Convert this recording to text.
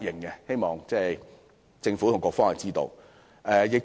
我希望政府和局方知道這一點。